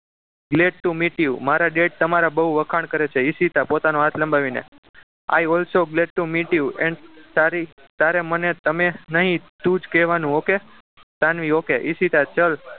Let to meet you મારા dad તમારા બહુ વખાણ કરે છે ઈશિતા પોતાનો હાથ લંબાવીને i also bless to meet you and તારી તારે મને તમે નહીં તું જ કહેવાનું okay સાનવી okay ઈશિતા ચલ